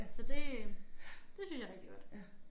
Så det det synes jeg er rigtig godt